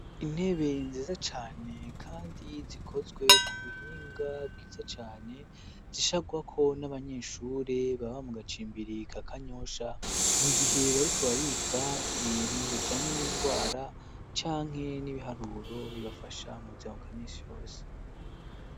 Intebeye nziza cane, kandi zikozwe ku buhinga bwiza cane zisharwako n'abanyeshure baba mu gacimbiri ka kanyosha mu gihe bariko barika ibintu bijanye n'ingwara canke n'ibiharuro bibafasha mu zamaubwamisi yose.